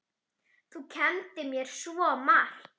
Þú kenndir mér svo margt.